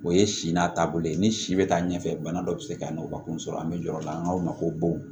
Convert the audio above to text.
O ye si n'a taabolo ye ni si bɛ taa ɲɛfɛ bana dɔ bɛ se ka na o ka kun sɔrɔ an bɛ jɔrɔ o la an k'a ma ko bon